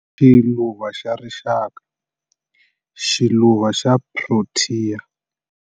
Xiluva xa rixaka, xiluva xa prothiya